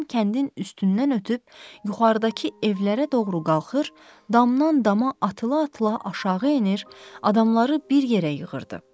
Həyəcan kəndin üstündən ötüb yuxarıdakı evlərə doğru qalxır, damdan dama atıla-atıla aşağı enir, adamları bir yerə yığırdı.